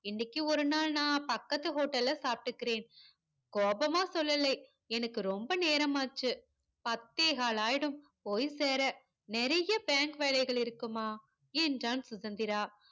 இன்னைக்கு ஒரு நாள் நா பக்கத்து hotel ல சாப்டுக்கிறேன் கோபமா சொல்லலே எனக்கு ரொம்ப நேரம் ஆச்சு பத்தேகால் ஆகிடும் போய் சேர நிறைய பேங்க் வேலைகள் இருக்குமா என்றான் சுதந்திரா